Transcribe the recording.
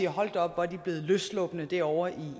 hold da op hvor er de blevet løsslupne derovre